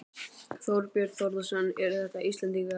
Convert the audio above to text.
Þorbjörn Þórðarson: Eru þetta Íslendingar?